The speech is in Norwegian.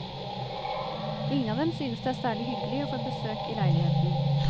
Ingen av dem synes det er særlig hyggelig å få besøk i leiligheten.